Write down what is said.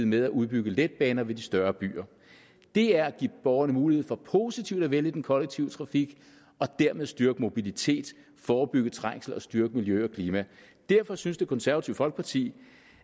med at udbygge letbaner ved de større byer det er at give borgerne mulighed for positivt at vælge den kollektive trafik og dermed styrke mobilitet forebygge trængsel og styrke miljø og klima derfor synes det konservative folkeparti